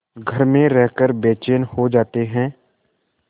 घर में रहकर बेचैन हो जाते हैं